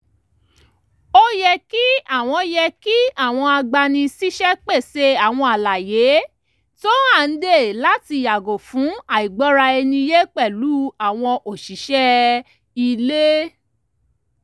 ó yẹ kí àwọn yẹ kí àwọn agbani-síṣẹ́ pèsè àwọn àlàyé tó hànde láti yàgò fún àìgbọ́ra-ẹni-yé pẹ̀lú àwọn òṣìṣẹ́ ilé